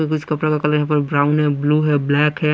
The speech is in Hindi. कि कुछ कपड़ों का कलर यहाँ ब्राउन है ब्लू है ब्लैक है।